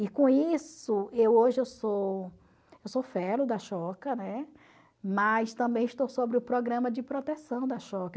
E com isso, eu hoje eu sou eu sou né, mas também estou sobre o programa de proteção da